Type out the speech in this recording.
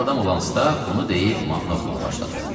Zarafatcıl adam olan Stab bunu deyib mahnı oxumağa başladı.